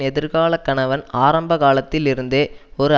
எதிர்கால கணவன் ஆரம்ப காலத்தில் இருந்தே ஒரு